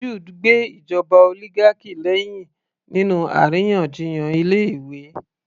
Jude gbe ìjọba oligarchy lẹ́hìn nínú àríyànjiyàn ilé ìwé